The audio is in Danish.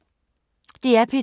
DR P2